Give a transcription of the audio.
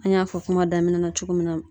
An y'a fɔ kuma daminɛ na cogo min na